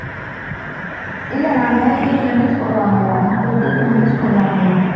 இல்ல நானு TV ல news போடுவாங்க இல்ல இல்ல TV ல news போடுவாங்க இல்ல